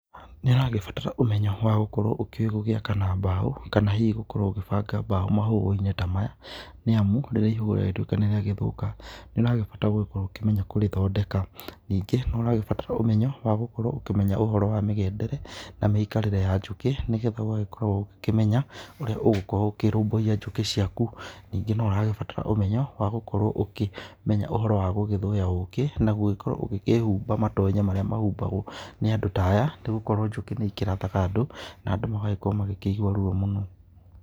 Nĩharagĩbatara ũmenyo wa gũkorwo ũĩ gũgĩaka na mbao kana hĩhĩ ũkorwo ũkĩbanga mbao mahũanĩ ta maya, nĩ amũ rĩrĩa ihũa nĩ rĩragĩtũĩka nĩrĩagĩthũka nĩũragĩbatara gũkorwo ũkĩmenya gũrĩthondeka, nĩngẽ no ũragĩbatara ũmenyo wa gũkorwo ũkĩmenya mĩgendere na mĩikarĩre ya njũkĩ nĩgetha ũgagĩkorwo ũkĩmenya ũrĩa ũgũkorwo ũkĩrũmbũĩa njũkĩ ciakũ, nĩngẽ no ũragĩbatara ũmenyo wa gũkorwo ũkĩmenya ũhoro wa gũgĩthũya ũkĩ na gũgĩkorwo ũkĩhũba matonya marĩa mehũbagwo nĩ andũ ta aya, ta rĩũ nĩgũkorwo njũkĩ nĩikĩrathaga andũ na andũ magagĩkorwo makĩigũa rũo mũno.